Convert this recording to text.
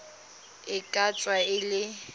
e ka tswa e le